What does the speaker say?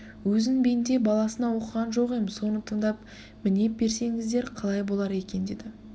өзін бенде баласына оқыған жоқ ем соны тыңдап мінеп берсеңіздер қалай болар екен деді